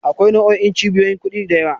Akwai nau'o'in cibiyoyin kuɗi da yawa.